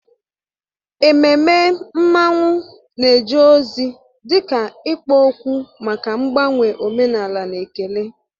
Ememme mmanwụ na-eje ozi dị ka ikpo okwu maka mgbanwe omenala na ekele.